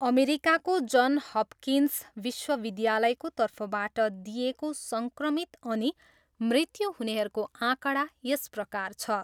अमेरिकाको Johns Hopkins विश्वविद्यायको तर्फबाट दिइएको सङ्क्रमित अनि मृत्यु हुनेहरूको आँकडा यसप्रकार छ।